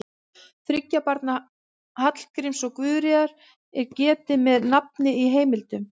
Þriggja barna Hallgríms og Guðríðar er getið með nafni í heimildum.